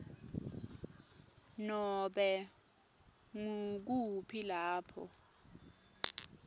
nobe ngukuphi lapho